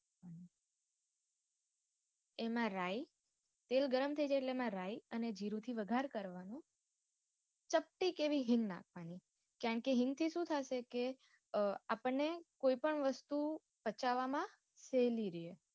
એમાં રાય તેલ ગરમ થઇ જાય એટલે એમાં રાય અને જીરું થી વગાર કરવાનો ચપટી એવી હિંગ નાખવાની કારણ કે હિંગ થી સુ થશે કે આપણ ને કોઈ પણ વસ્તુ પચવામાં સેલી રે